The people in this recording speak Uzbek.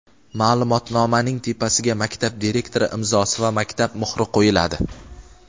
Ma’lumotnomaning tepasiga maktab direktori imzosi va maktab muhri qo‘yiladi.